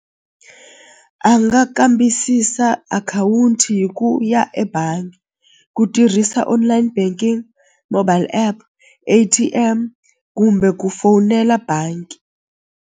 A nga kambisisa akhawunti hi ku ya ebangi ku tirhisa online banking mobile app A_T_M kumbe ku fowunela bangi.